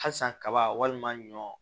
Halisa kaba walima ɲɔ